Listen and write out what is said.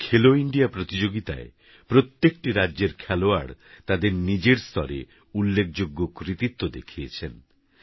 এবারKhelo Indiaপ্রতিযোগিতায়প্রত্যেকটিরাজ্যেরখেলোয়াড়তাদেরনিজেরস্তরেউল্লেখযোগ্যকৃতিত্বদেখিয়েছেন